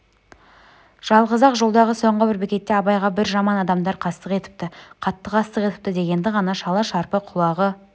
жалғыз-ақ жолдағы соңғы бір бекетте абайға бір жаман адамдар қастық етіпті қатты қастық етіпті дегенді ғана шала-шарпы құлағы